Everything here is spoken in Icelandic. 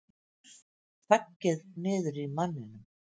Þaggið niðri í manninum!